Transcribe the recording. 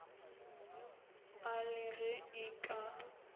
a le ge e ka